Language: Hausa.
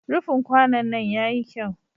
Rufin kwanon nan ya yi kyau.